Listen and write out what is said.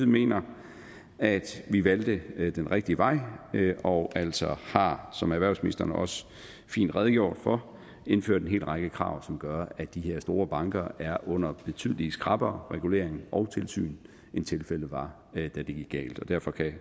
mener at vi valgte den rigtige vej og altså som erhvervsministeren også fint redegjorde for indført en hel række krav som gør at de her store banker er under betydelig skrappere regulering og tilsyn end tilfældet var da det gik galt og derfor kan